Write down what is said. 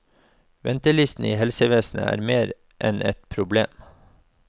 Ventelistene i helsevesenet er mer enn et problem.